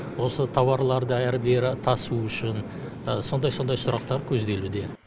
осы тауарларды әрі бері тасу үшін сондай сондай сұрақтар көзделуде